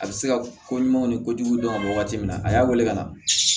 A bɛ se ka ko ɲumanw ni kojugu dɔn waati min na a y'a wele ka na